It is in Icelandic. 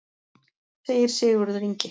Segir Sigurður Ingi.